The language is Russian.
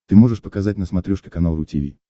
ты можешь показать на смотрешке канал ру ти ви